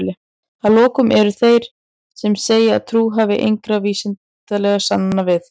að lokum eru þeir sem segja að trú þurfi engra vísindalegra sannana við